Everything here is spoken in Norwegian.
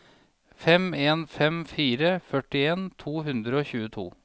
fem en fem fire førtien to hundre og tjueto